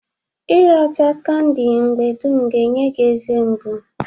Ị racha kandị mgbe dum ga-enye gi eze mgbụ.